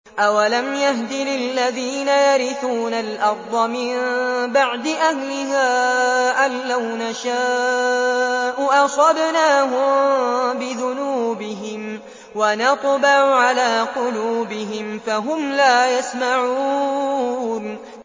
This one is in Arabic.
أَوَلَمْ يَهْدِ لِلَّذِينَ يَرِثُونَ الْأَرْضَ مِن بَعْدِ أَهْلِهَا أَن لَّوْ نَشَاءُ أَصَبْنَاهُم بِذُنُوبِهِمْ ۚ وَنَطْبَعُ عَلَىٰ قُلُوبِهِمْ فَهُمْ لَا يَسْمَعُونَ